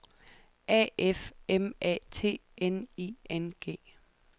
A F M A T N I N G